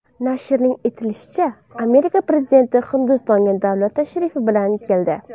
Nashrning eslatishicha, Amerika prezidenti Hindistonga davlat tashrifi bilan keldi.